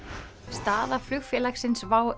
staða flugfélagsins WOW